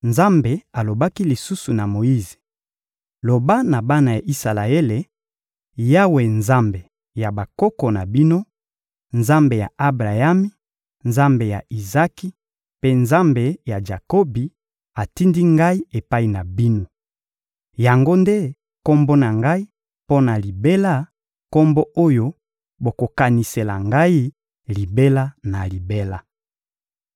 Nzambe alobaki lisusu na Moyize: — Loba na bana ya Isalaele: «Yawe Nzambe ya bakoko na bino, Nzambe ya Abrayami, Nzambe ya Izaki, mpe Nzambe ya Jakobi, atindi ngai epai na bino.» Yango nde Kombo na Ngai mpo na libela, Kombo oyo bokokanisela Ngai libela na libela.